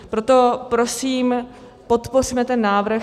Proto prosím, podpořme ten návrh.